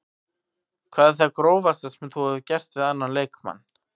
Hvað er það grófasta sem þú hefur gert við annan leikmann?